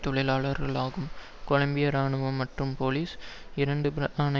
தொழிலாளர்களாகும் Colombia இராணுவம் மற்றும் போலீசார் இரண்டு பிரதான